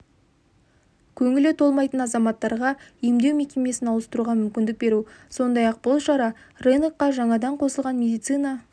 көңілі толмайтын азаматтарға емдеу мекемесін ауыстыруға мүмкіндік беру сондай-ақ бұл шара рынокқа жаңадан қосылған медицина